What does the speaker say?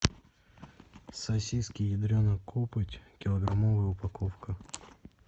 сосиски ядрена копоть килограммовая упаковка